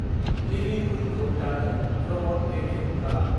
लिविं रुमखौ दानो र'बत वेक्युम खालाम।